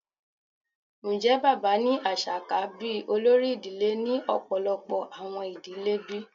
Njẹ baba ni aṣa ka bi olori idile ni ọpọlọpọ awọn idile bi?